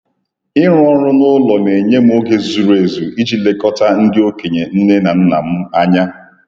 Ịrụ ọrụ n'ụlọ na-enye m oge zuru ezu iji lekọta ndị okenye nne na nna m ànyà